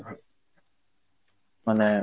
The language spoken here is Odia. ମାନେ